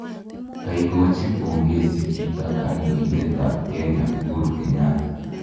Koigochi pongesi Peter kandoindet ab Kenya, Uhuru Kenyatta